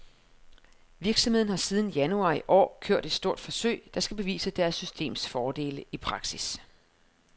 Virksomheden har siden januar i år kørt et stort forsøg, der skal bevise deres systems fordele i praksis.